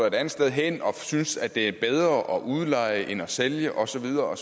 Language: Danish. et andet sted hen og synes at det er bedre at udleje end at sælge og så videre